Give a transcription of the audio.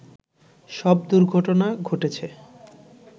সব দুর্ঘটনা ঘটেছে